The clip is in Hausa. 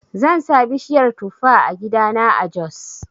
Zan sa bishiyar tufa a gidana a jos.